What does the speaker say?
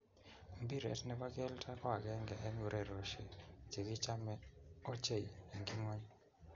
Mpiret ne bo kelto ko akenge eng urerioshe che kichome ochei eng ngony.